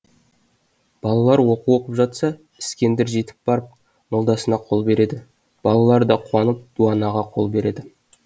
балалар оқу оқып жатса іскендір жетіп барып молдасына қол береді балалар да қуанып дуанаға қол береді